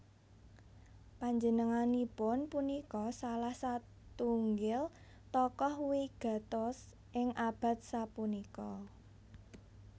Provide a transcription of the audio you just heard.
Panjenenganipun punika salah satunggil tokoh wigatos ing abad sapuniki